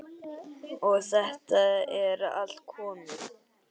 Og þetta er allt komið.